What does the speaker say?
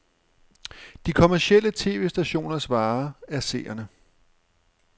De kommercielle tv-stationers vare er seere.